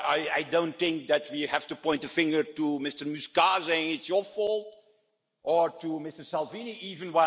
I do not think we have to point a finger at Mr Muscat and say it's your fault, or at Mr Salvini even.